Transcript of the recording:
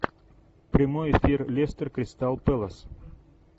прямой эфир лестер кристал пэлас